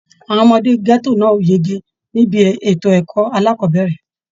Àwọn ọmọdé gẹto náà o yege nibi ètò ẹ̀kọ́ alákọ̀bẹ̀rẹ̀.